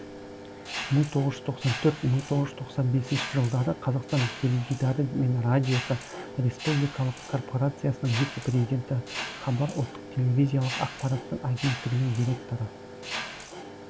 мың тоғыз жүз тоқсан төрт мың тоғыз жүз тоқсан бес жылдары қазақстан теледидары мен радиосы республикалық корпорациясының вице президенті хабар ұлттық телевизиялық ақпараттық агенттігінің директоры